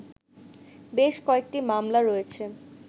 বেশ কয়েকটি মামলা রয়েছে